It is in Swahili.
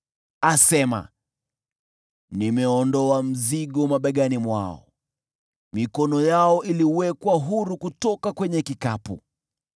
Asema, “Nimeondoa mzigo mabegani mwao; mikono yao iliwekwa huru kutoka kwenye kikapu.